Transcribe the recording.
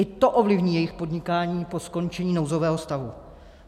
I to ovlivní jejich podnikání po skončení nouzového stavu.